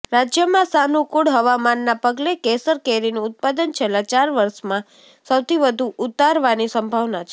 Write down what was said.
રાજ્યમાં સાનુકૂળ હવામાનના પગલે કેસર કેરીનું ઉત્પાદન છેલ્લા ચાર વર્ષમાં સૌથી વધુ ઉતરવાની સંભાવના છે